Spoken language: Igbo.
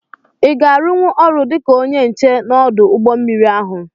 I ga-arunwu ọrụ dịka ónyé nche n'odu ụgbọ mmiri ahụ?